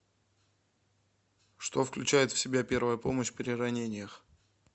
что включает в себя первая помощь при ранениях